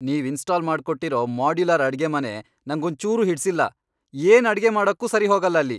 ನೀವ್ ಇನ್ಸ್ಟಾಲ್ ಮಾಡ್ಕೊಟ್ಟಿರೋ ಮಾಡ್ಯುಲರ್ ಅಡ್ಗೆಮನೆ ನಂಗೊಂಚೂರೂ ಹಿಡ್ಸಿಲ್ಲ, ಏನ್ ಅಡ್ಗೆ ಮಾಡಕ್ಕೂ ಸರಿಹೋಗಲ್ಲ ಅಲ್ಲಿ.